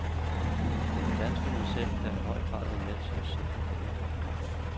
Det var danskerne selv, der i høj grad var med til at sikre denne fremgang.